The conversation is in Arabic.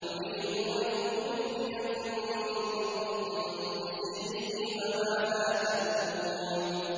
يُرِيدُ أَن يُخْرِجَكُم مِّنْ أَرْضِكُم بِسِحْرِهِ فَمَاذَا تَأْمُرُونَ